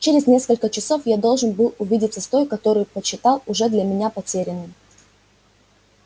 через несколько часов я должен был увидеться с той которую почитал уже для меня потерянной